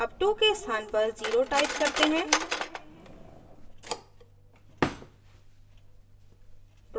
अब 2 के स्थान पर 0 type करते हैं